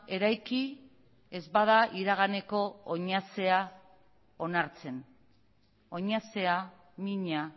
eraiki ez bada iraganeko oinazea onartzen oinazea mina